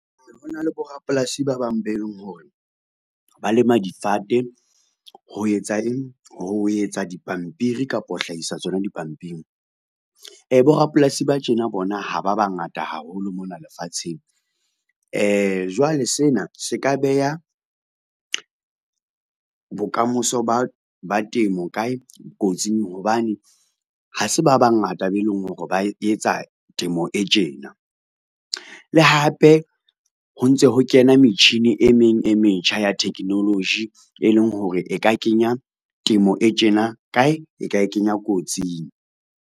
Ho na le borapolasi ba bang be leng hore, ba lema difate ho etsa eng? Ho etsa dipampiri kapa ho hlahisa tsona dipampiri. Borapolasi ba tjena bona ha ba ba ngata haholo mona lefatsheng, jwale sena se ka beha bokamosa ba temo kae, kotsing hobane ha se ba bangata be leng hore ba etsa temo e tjena. Le hape ho ntse ho kena metjhini e meng e metjha ya technology e leng hore, e ka kenya temo e tjena kae, e ka e kenya kotsing.